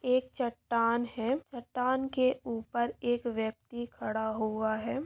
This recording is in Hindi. एक चट्टान है चट्टान के ऊपर एक व्यक्ति खड़ा हुआ है